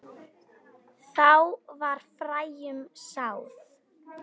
Þá var fræjum sáð.